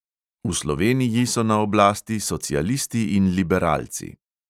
V sloveniji so na oblasti socialisti in liberalci.